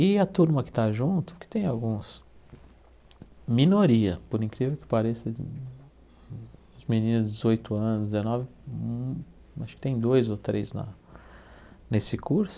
E a turma que está junto, que tem alguns, minoria, por incrível que pareça, as meninas de dezoito anos, dezenove, acho que tem dois ou três lá nesse curso,